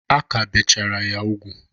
A ka bechara ya ugwu.